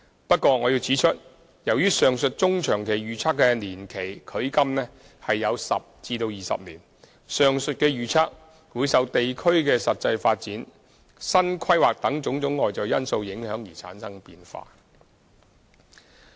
不過，我要指出，由於上述中、長期預測的年期距今有10至20年，上述預測會受地區的實際發展、新規劃等種種外在因素影響而產生變化。